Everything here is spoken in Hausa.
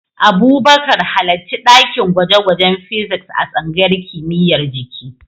Abubakar, halarci dakin gwaje-gwajen Physics a tsangayar kimiyyar jiki.